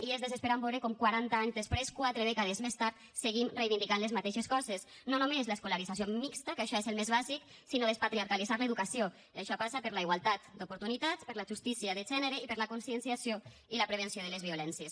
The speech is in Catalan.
i és desesperant veure com quaranta anys després quatre dècades més tard seguim reivindicant les mateixes coses no només l’escolarització mixta que això és el més bàsic sinó despatriarcalitzar l’educació i això passa per la igualtat d’oportunitats per la justícia de gènere i per la conscienciació i la prevenció de les violències